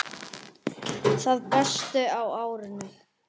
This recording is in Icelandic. Það besta á árinu